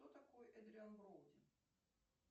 кто такой эдриан броуди